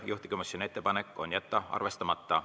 Juhtivkomisjoni ettepanek on jätta arvestamata.